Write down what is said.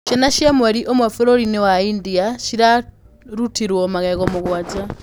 Ciana cia mweri ũmwe bũrũri-inĩ wa India ciarutirũo magego mũgwanja